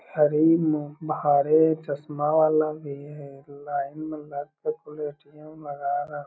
शरीर में भारी चश्मा वाला भी है | लाइन में लग कर कउनो ए.टी.एम. --